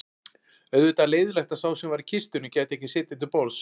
Auðvitað leiðinlegt að sá sem var í kistunni gæti ekki setið til borðs